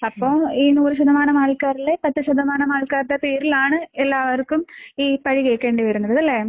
അപ്പൊ ഈ നൂറ് ശതമാനം ആൾക്കാരില് പത്ത് ശതമാനം ആൾക്കാരുടെ പേരിലാണ് എല്ലാവർക്കും ഈ പഴി കേൾക്കേണ്ടി വരുന്നത് അല്ലേ?